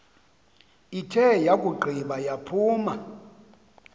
ithe yakugqiba yaphuma